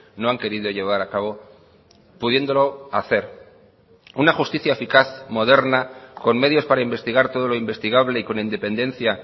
no han querido llevar a cabo pudiéndolo hacer una justicia eficaz moderna con medios para investigar todo lo investigable y con independencia